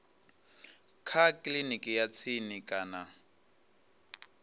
kha kiliniki ya tsini kana